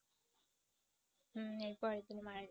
হুঁ এর পরের দিন মারা গেছে।